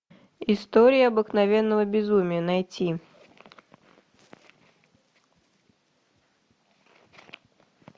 история обыкновенного безумия найти